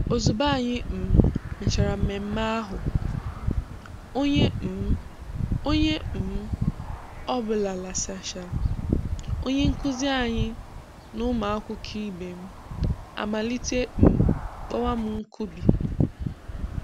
Ozugbo anyị um mechara mmemme ahụ, onye um ọ onye um ọ bụla lasachaa, onye nkụzi anyị na ụmụ akwụkwọ ibe m amalite um kpọwa m 'Nkubi'.